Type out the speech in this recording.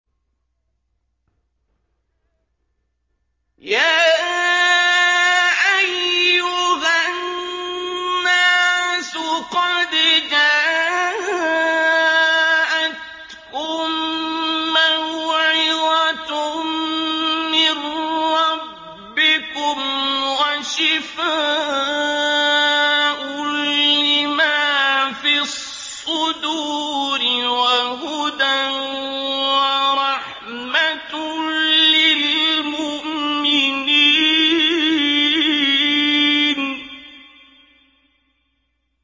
يَا أَيُّهَا النَّاسُ قَدْ جَاءَتْكُم مَّوْعِظَةٌ مِّن رَّبِّكُمْ وَشِفَاءٌ لِّمَا فِي الصُّدُورِ وَهُدًى وَرَحْمَةٌ لِّلْمُؤْمِنِينَ